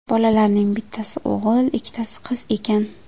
Bolalarning bittasi o‘g‘il, ikkitasi qiz ekan.